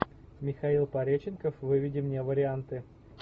михаил пореченков выведи мне варианты